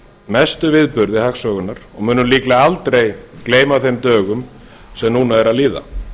mestu viðburði hagsögunnar og munum líklega aldrei gleyma þeim dögum sem núna eru að líða